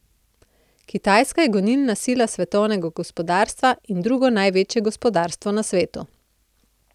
Kitajska je gonilna sila svetovnega gospodarstva in drugo največje gospodarstvo na svetu.